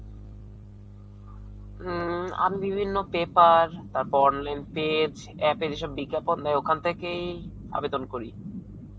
উম আমি বিভিন্ন paper তারপর link page, app এর ইসব বিজ্ঞাপন দেয়, ওখানথেকেই আবেদন করি.